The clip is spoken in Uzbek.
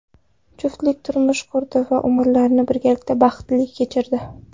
Juftlik turmush qurdi va umrlarini birgalikda baxtli kechirdi.